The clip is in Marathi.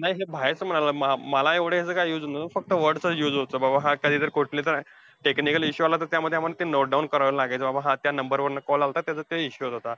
नाही नाही बाहेरचं म्हणजे, मला अं याचा एवढा काही use होत नाही, फक्त word चा चं use होतो कि, बाबा कधी कोणता technical issue आला, तर त्यामध्ये आम्हाला note down करावं लागेल बाबा हा त्या number वरून call आलता. त्याचा ते issue होत होता.